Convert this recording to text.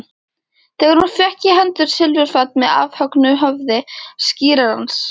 Þegar hún fékk í hendur silfurfat með afhöggnu höfði skírarans?